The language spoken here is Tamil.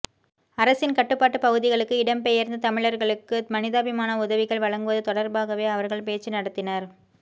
அரசின் கட்டுப்பாட்டு பகுதிகளுக்கு இடம்பெயர்ந்த தமிழர்களுக்கு மனிதாபிமான உதவிகள் வழங்குவது தொடர்பாகவே அவர்கள் பேச்சு நடத்தினர்